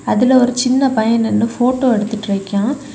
அதுல ஒரு சின்ன பையன் நின்னு ஃபோட்டோ எடுத்துட்டு நிக்யான்.